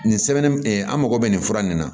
Nin sɛbɛn an mago bɛ nin fura nin na